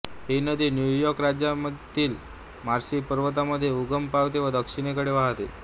ही नदी New York राज्यातील Marcy पर्वतामध्ये उगम पावते व दक्षिणेकडे वाहते